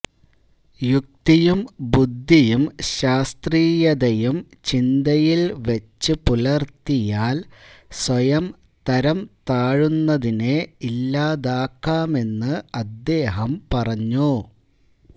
യുക്തിയും ബുദ്ധിയും ശാസ്ത്രീയതയും ചിന്തയില് വച്ചു പുലര്ത്തിയാല് സ്വയം തരംതാഴുന്നതിനെ ഇല്ലാതാക്കാമെന്ന് അദ്ദേഹം പറഞ്ഞു